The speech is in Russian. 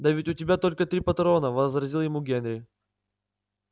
да ведь у тебя только три патрона возразил ему генри